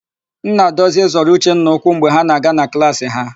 Nnadozie zọrọ Uchenna ụkwụ mgbe ha na-aga na klaasị ha.